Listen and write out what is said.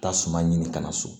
Taa suma ɲini kana so